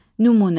Nümunə.